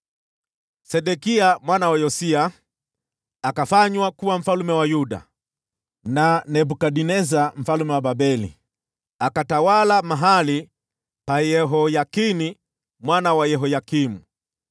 Sedekia mwana wa Yosia akafanywa kuwa mfalme wa Yuda na Nebukadneza mfalme wa Babeli, naye akatawala mahali pa Yehoyakini mwana wa Yehoyakimu.